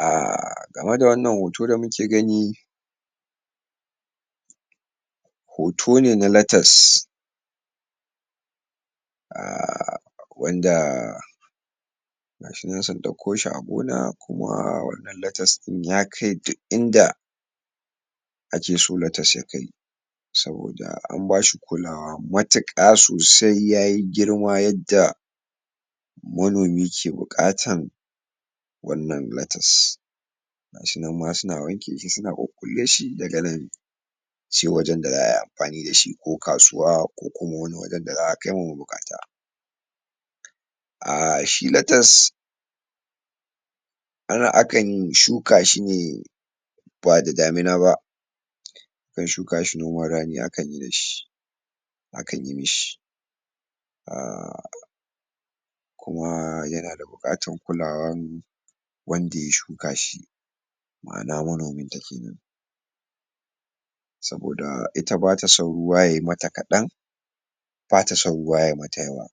um game da wannan hoto da muke gani hoto ne na latas um wanda gashinan sun dauko shi a gona wannan latas din yakai duk inda ake so latas yakai saboda ambashi kulawa matuka sosai yayi girma yadda manomi ke bukatan wannan latas gashi nan ma suna wanke shi suna kukkule shi daga nan sai wajen da za'ayi amfani da shi ko kasuwa ko kuma wajen da za'a kai wa mabukata um shi latas anan akan shukashi ne ba da damina ba shukashi noman rani akan yi da shi akan yimashi um kuma yanada bukatan kulawan wanda ya shuka shi ma'ana manominta kenan saboda ita batason ruwa yayi mata kadan bata son ruwa yayi mata yawa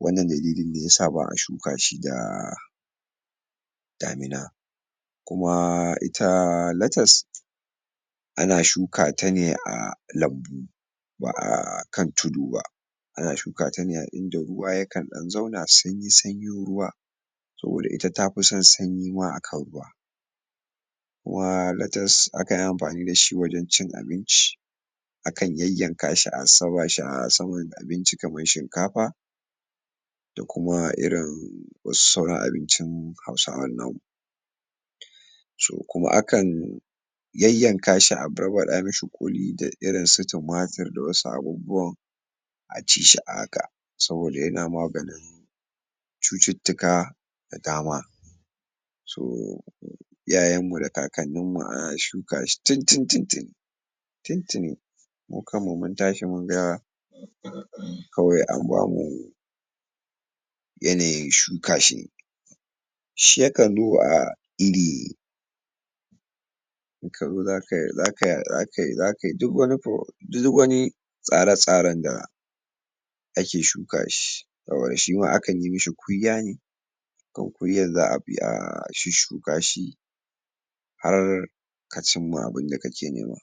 wannan daliline yasa ba'a shukashi da damina kuma ita latas ana shukatane a lambu ba'akan tudu ba ana shuka tane a inda ruwa yakan zauna sanyi-sanyin ruwa saboda ita tafison sanyi ma akan ruwa kuma latas akanyi amfani da shi wajen cin abinci akan yayyakashi a saka shi asaman abinci kaman shikafa ko kuma irin wasu sauran abinmcin hauswan namu so kuma akan yayyaka shi a barba da mashi kuli da irin su tumatir da wasu abubuwan acishi a haka saboda yana maganin cututtuka da dama to iyayen mu da kakanin mu ana shuka shi tuntun-tuni tiun tuni mukan mu muntashi munga kawai ambamu yanayin shukashi shi yakan duba iri kazo zakai zakai zakai duk wani pro duk wani tsare tsaren da ake shuka shi saboda shima akan yima shi kunya ne kan kunyan za'abi a shushshu kashi har kacimma abin dake nema